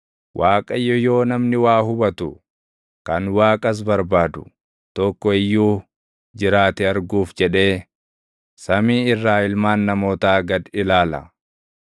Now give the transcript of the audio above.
Waaqayyo yoo namni waa hubatu, kan Waaqas barbaadu, tokko iyyuu jiraate arguuf jedhee, samii irraa ilmaan namootaa gad ilaala.